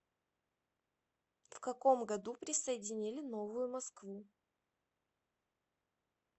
в каком году присоединили новую москву